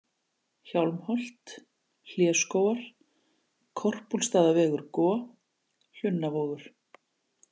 Hjálmholt, Hléskógar, Korpúlfsstaðavegur-Go, Hlunnavogur